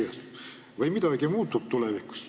Kas äkki midagi tulevikus muutub?